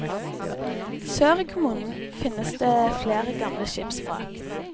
Sør i kommunen finnes det flere gamle skipsvrak.